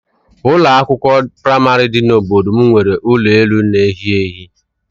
Ụlọ akwụkwọ praịmarị dị n'obodo m nwere elu ụlọ na-ehi ehi.